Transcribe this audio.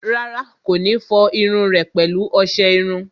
Rárá, kò ní fọ irun rẹ̀ pẹ̀lú ọsẹ iru